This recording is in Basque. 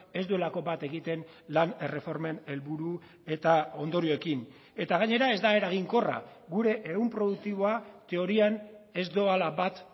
ez duelako bat egiten lan erreformen helburu eta ondorioekin eta gainera ez da eraginkorra gure ehun produktiboa teorian ez doala bat